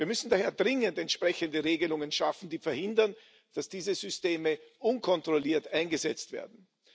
Wir müssen daher dringend entsprechende Regelungen schaffen, die verhindern, dass diese Systeme unkontrolliert eingesetzt werden.